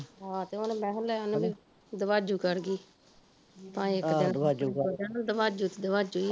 ਆਹੋ ਤੇ ਮੈਂ ਕਿਹਾ ਲੈ ਹੁਣ ਓਹਨੂੰ ਵੀ ਦਵਾਜੂ ਕਰਗੀ ਭਾਂਵੇ ਇੱਕ ਦਿਨ ਈ ਦਵਾਜੂ ਤੇ ਦਵਾਜੂ ਐ ਈ ਐ